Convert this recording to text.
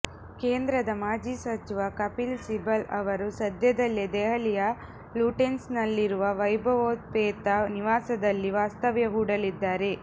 ಕೇಂದ್ರದ ಮಾಜಿ ಸಚಿವ ಕಪಿಲ್ ಸಿಬಲ್ ಅವರು ಸದ್ಯದಲ್ಲೇ ದೆಹಲಿಯ ಲ್ಯುಟೆನ್ಸ್ನಲ್ಲಿರುವ ವೈಭವೋಪೇತ ನಿವಾಸದಲ್ಲಿ ವಾಸ್ತವ್ಯ ಹೂಡಲಿದ್ದಾರೆ